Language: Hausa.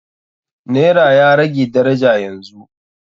Naira ya rage daraja yanzu.